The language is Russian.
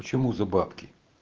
почему за бабки